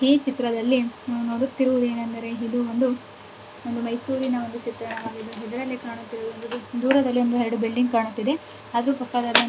ಈ ಚಿತ್ರದಲ್ಲಿ ನೋಡುತ್ತಿರುವುದು ಏನೆಂದರೆ ಇದೊಂದು ಮೈಸೂರಿನ ಚಿತ್ರವಾಗಿದೆ ದೂರದಲ್ಲಿ ಒಂದೆರಡು ಬಿಲ್ಡಿಂಗ್ ಕಾಣ್ತಾ ಇದೆ. ಅದರ ಪಕ್ಕದಲ್ಲಿ--